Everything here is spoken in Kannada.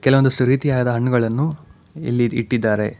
ಕೆಲವೊಂದಿಷ್ಟು ರೀತಿಯಾದ ಹಣ್ಣುಗಳನ್ನು ಇಲ್ಲಿ ಇಟ್ಟಿದ್ದಾರೆ.